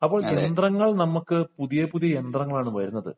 ഇപ്പോൾ യന്ത്രങ്ങൾ നമുക്ക് പുതിയ പുതിയ യന്ത്രങ്ങളാണ് വരുന്നത്